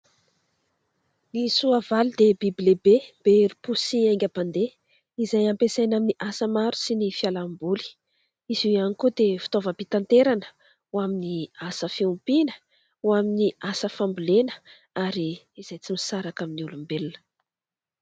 Ny soavaly dia biby lehibe be herim-po sy haingam-pandeha izay ampiasaina amin' ny asa maro sy ny fialamboly ; izy io ihany koa dia fitaovam-pitanterana : ho amin' ny asa fiompiana, ho amin' ny asa fambolena ary izay tsy misaraka amin' ny olombelona.